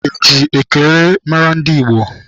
Eji ekele mara ndị Igbo?